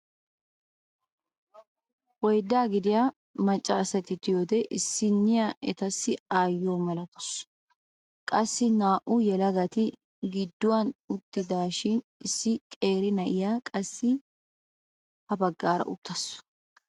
Oyddaa gidiyaa macca asati de'iyoode issina etassi ayyiyoo malatawus. qassi naa"u yelagati gidduwaan uttidaashin issi qeeri na'iyaa qassi ha baggaara uttaasu.